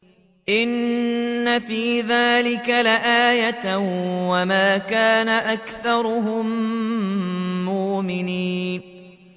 إِنَّ فِي ذَٰلِكَ لَآيَةً ۖ وَمَا كَانَ أَكْثَرُهُم مُّؤْمِنِينَ